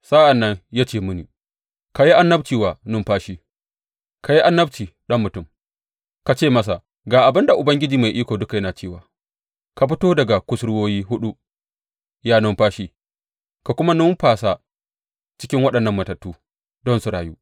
Sa’an nan ya ce mini, Ka yi annabci wa numfashi; ka yi annabci, ɗan mutum, ka ce masa, Ga abin da Ubangiji Mai Iko Duka yana cewa ka fito daga kusurwoyi huɗu, ya numfashi, ka kuma numfasa cikin waɗannan matattu, don su rayu.’